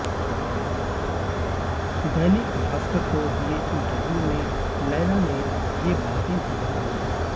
दैनिक भास्कर को दिए इंटरव्यू में लैला ने ये बातें भी बताईं